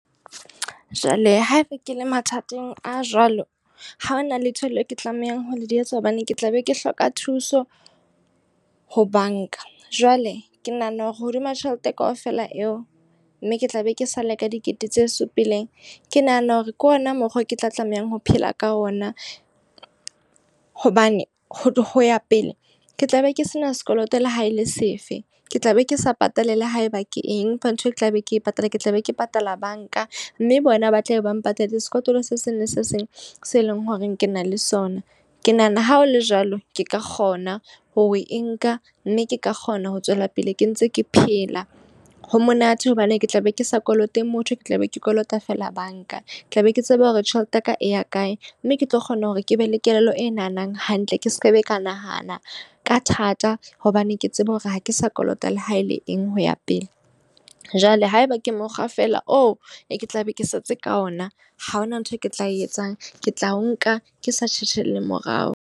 Jwale haeba ke le mathateng a jwalo, ha hona letho leo ke tlamehang ho di etsa. Hobane ke tla be ke hloka thuso ho banka. Jwale ke nahana hore hodima tjhelete kaofela eo, mme ke tla be ke sale ka dikete tse supileng. Ke nahana hore ke ona mokgwa o ke tla tlamehang ho phela ka ona. Hobane ho ya pele, ke tla be ke se na sekoloto le ha e le sefe. Ke tla be ke sa patale le haeba ke eng, empa ntho e tla be ke patala, ke tla be ke patala banka. Mme bona ba tla be bang patalletse sekotlolo se seng le se seng se leng hore ke na le sona. Ke nahana ha ho le jwalo, ke ka kgona ho e nka. Mme ke ka kgona ho tswela pele ke ntse ke phela. Ho monate hobane ke tla be ke sa kolota motho ke tla be ke kolota fela banka. Tla be ke tsebe hore tjhelete ya ka e ya kae. Mme ke tlo kgona hore ke be le kelello e nahanang hantle, ke sekebe ka nahana ka thata hobane ke tsebe hore ha ke sa kolota le ha e le eng ho ya pele. Jwale haeba ke mokgwa fela oo, e ke tla be ke setse ka ona. Ha ho na ntho e ke tla e etsang. Ke tla o nka ke sa tjhetjhelle morao.